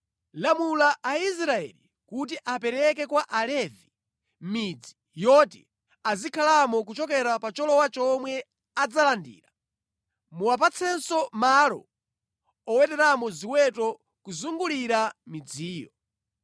“Lamula Aisraeli kuti apereke kwa Alevi midzi yoti azikhalamo kuchokera pa cholowa chomwe adzalandira. Muwapatsenso malo oweteramo ziweto kuzungulira midziyo.